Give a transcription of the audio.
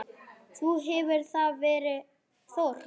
Þá hefur þar verið þorp.